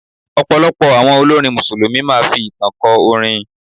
Ọ̀pọ̀lọpọ̀ àwọn olórin Mùsùlùmí máa fi ìtàn kó orin.